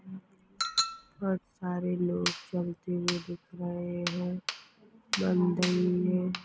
बहोत सारे लोग चलते हुए दिख रहे है मंदिर में।